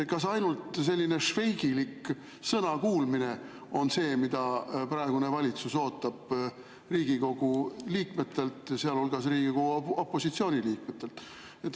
Kas ainult selline švejkilik sõnakuulmine on see, mida praegune valitsus ootab Riigikogu liikmetelt, sealhulgas Riigikogu opositsiooni liikmetelt?